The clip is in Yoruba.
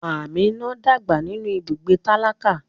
Amina dàgbà nínú ibùgbé tálákà.